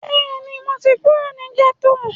Bẹ́ẹ̀ni, mo ti kúrò ní gẹ́tò